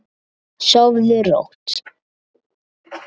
Sofðu rótt.